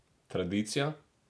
Tradicija?